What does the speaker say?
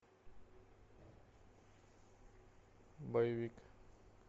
боевик